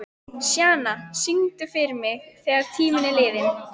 Sjana, syngdu fyrir mig „Þegar tíminn er liðinn“.